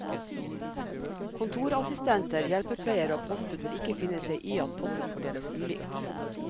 Kontorassistenter, hjelpepleiere og postbud vil ikke finne seg i at potten fordeles ulikt.